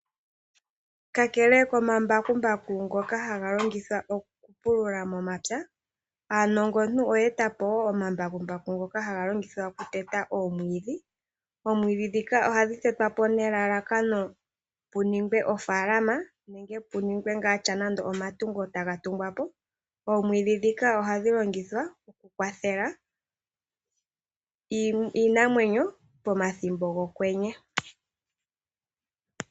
Kakele komambakumbaku ngoka hga longithwa oku pulula momapya aanongontu oye etapo woo omambakumbaku ngoka haga longithwa okuteta omwiidhi. Omwiidhi ndhika ohadhi tetwapo nelalakano puningwe ofaalama nenge puningwe ngaa sha nande omatungo taga tungwapo. Oomwiidhi ndhika ohadhi longithwa oku kwathela iinamwenyo pomathimbo gokwenye.